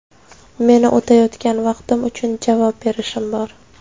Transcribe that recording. Meni o‘tayotgan vaqtim uchun javob berishim bor.